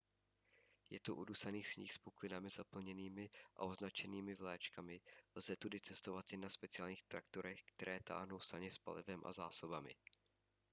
je to udusaný sníh s puklinami zaplněnými a označenými vlaječkami lze tudy cestovat jen na speciálních traktorech které táhnou saně s palivem a zásobami